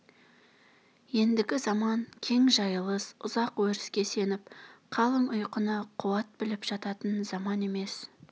ендігі заман кең жайылыс ұзақ өріске сеніп қалың ұйқыны қуат біліп жататын заман емес